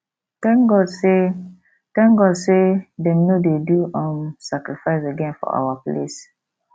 thank god say thank god say dem no dey do um sacrifice again for our place